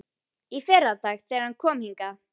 Í fyrradag, þegar hann kom hingað.